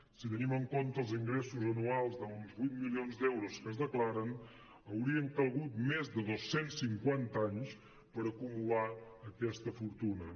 si tenim en compte els ingressos anuals d’uns vuit milions d’euros que es declaren haurien calgut més de dos cents i cinquanta anys per acumular aquesta fortuna